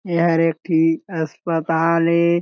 ए हर एक ठी अस्पताल ए --